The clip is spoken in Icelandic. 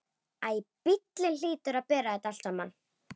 Æ, bíllinn hlýtur að bera þetta allt saman.